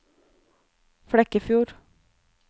Flekkefjord